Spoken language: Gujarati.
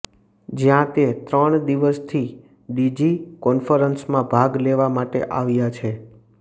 જ્યાં તે ત્રણ દિવસની ડીજી કોન્ફરન્સમાં ભાગ લેવા માટે આવ્યા છે